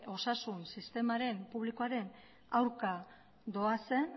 osasun sistema publikoaren aurka doazen